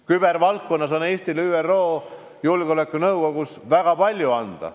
Kübervaldkonnas on Eestil ÜRO Julgeolekunõukogus väga palju anda.